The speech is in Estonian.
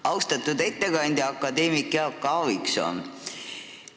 Austatud ettekandja akadeemik Jaak Aaviksoo!